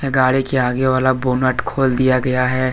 गाड़ी के आगे वाला बोनेट खोल दिया गया है।